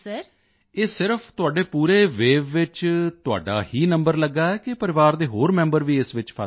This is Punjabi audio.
ਇਹ ਸਿਰਫ ਤੁਹਾਡੇ ਪੂਰੇ ਵੇਵ ਵਿੱਚ ਤੁਹਾਡਾ ਹੀ ਨੰਬਰ ਲੱਗਾ ਹੈ ਕਿ ਪਰਿਵਾਰ ਦੇ ਹੋਰ ਮੈਂਬਰ ਵੀ ਇਸ ਵਿੱਚ ਫਸ ਗਏ ਹਨ